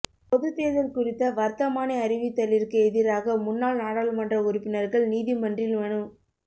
பொதுத்தேர்தல் குறித்த வர்த்தமானி அறிவித்தலிற்கு எதிராக முன்னாள் நாடாளுமன்ற உறுப்பினர்கள் நீதிமன்றில் மனு